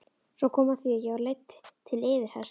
Svo kom að því að ég var leidd til yfirheyrslu.